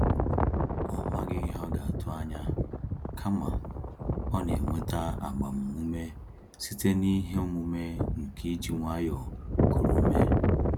Ọ maghị ihe ọ ga-atụ anya, kama, ọ nenweta agbam ume site n'ihe omume nke iji nwayọọ kuru ume